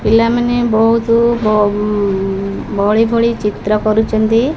ପିଲାମାନେ ବୋହୁତୁ ଭ ଉଁ ଭଳି ଭଳି ଚିତ୍ର କରୁଚନ୍ତି।